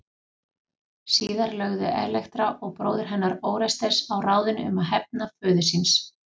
Síðar lögðu Elektra og bróðir hennar Órestes á ráðin um að hefna föður síns.